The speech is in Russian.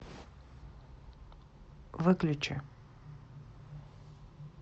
выключи